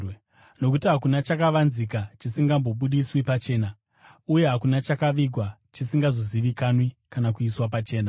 Nokuti hakuna chakavanzika chisingazobudiswi pachena, uye hakuna chakavigwa chisingazozivikanwi kana kuiswa pachena.